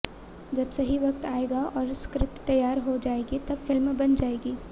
जब सही वक्त आएगा और स्क्रिप्ट तैयार हो जाएगी तब फिल्म बन जाएगी